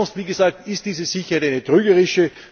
Sache. Denn sonst, wie gesagt, ist diese Sicherheit trügerisch.